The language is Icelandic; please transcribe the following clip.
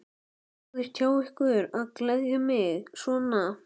Sniðugt hjá ykkur að gleðja mig svona.